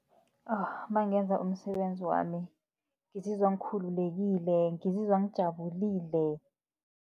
Nangenza umsebenzi wami ngizizwa ngikhululekile, ngizizwa ngijabulile.